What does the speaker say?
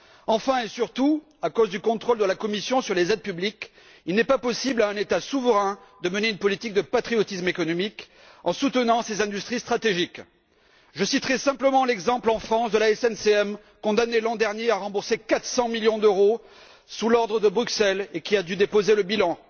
Enfin et surtout, à cause du contrôle de la Commission sur les aides publiques, il n'est pas possible pour un État souverain de mener une politique de patriotisme économique en soutenant ses industries stratégiques. Je citerai simplement, en France, l'exemple de la SNCM, condamnée l'an dernier à rembourser 400 millions d'euros sur l'ordre de Bruxelles et qui a dû déposer le bilan.